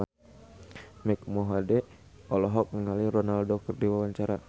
Mike Mohede olohok ningali Ronaldo keur diwawancara